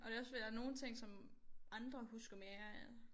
Og det også fordi der nogle ting som andre husker mere